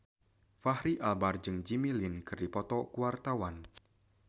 Fachri Albar jeung Jimmy Lin keur dipoto ku wartawan